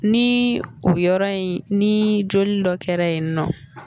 Ni o yɔrɔ in ni joli dɔ kɛra yen nɔ,